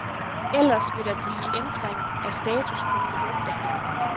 Ellers vil der blive ændring af status på produkterne.